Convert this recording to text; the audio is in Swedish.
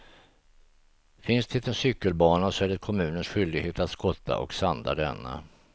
Finns det en cykelbana så är det kommunens skyldighet att skotta och sanda denna.